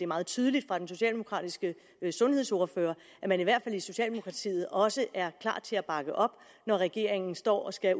meget tydeligt fra den socialdemokratiske sundhedsordfører at man i hvert fald i socialdemokratiet også er klar til at bakke op når regeringen står og skal